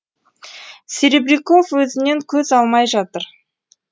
серебряков өзінен көз алмай жатыр